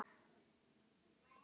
Ég vildi að ég hefði verið með